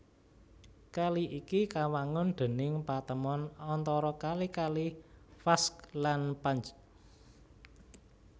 Kali iki kawangun déning patemon antara kali kali Vakhsh lan Panj